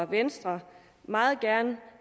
venstre meget gerne